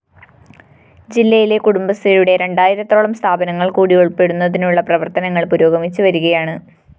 ജില്ലയിലെ കുടുംബശ്രീയുടെ രണ്ടായിരത്തോളം സ്ഥാപനങ്ങള്‍ കൂടി ഉള്‍പ്പെടുത്തുന്നതിനുള്ള പ്രവര്‍ത്തനങ്ങള്‍ പുരോഗമിച്ചുവരികയാണ്